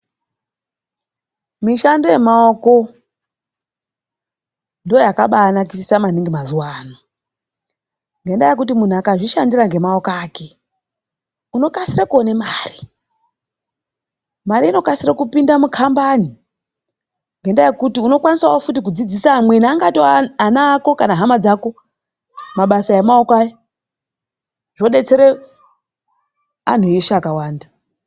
Mishando yemaoko ndoyakanakisa maningi mazuva ano ngenda yekuti mundu akazvishandira nemaoko ake unokasira kuone mare, mari inokasira kupinda mukambani ngenda yekuti unokwanisa kudzidzisa amweni angatove ana ako kana hama dzako mabasa emaoko awa zvodetsera anhu eshe akawanda.